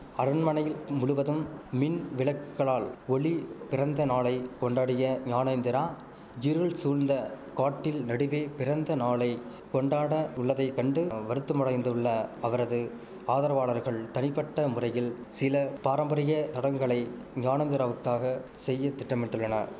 அரண்மனையில் முழுவதும் மின் விளக்குளால் ஒளி பிறந்தநாளை கொண்டாடிய ஞானேந்திரா இருள் சூழ்ந்த காட்டில் நடுவே பிறந்தநாளை கொண்டாட உள்ளதை கண்டு வருத்தமடைந்துள்ள அவரது ஆதரவாளர்கள் தனிப்பட்ட முறையில் சில பாரம்பரிய சடங்குகளை ஞானேந்திராவுக்காகச் செய்ய திட்டமிட்டுள்ளன